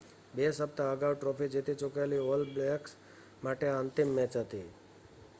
બે સપ્તાહ અગાઉ ટ્રૉફી જીતી ચૂકેલી ઑલ બ્લૅક્સ માટે આ અંતિમ મૅચ હતી